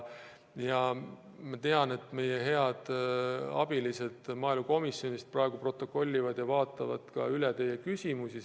Ma tean, et meie head abilised maaelukomisjonist praegu protokollivad ja vaatavad üle teie küsimusi.